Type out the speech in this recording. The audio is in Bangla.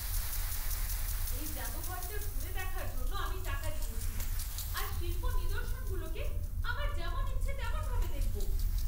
এই জাদুঘরটা ঘুরে দেখার জন্য আমি টাকা দিয়েছি, আর শিল্প নিদর্শনগুলোকে আমার যেমন ইচ্ছা তেমন ভাবে দেখব।